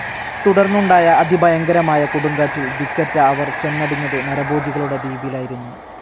തുടർന്നുണ്ടായ അതിഭയങ്കരമായ കൊടുങ്കാറ്റിൽ ദിക്കറ്റ അവർ ചെന്നടിഞ്ഞത് നരഭോജികളുടെ ദ്വീപിലായിരുന്നു.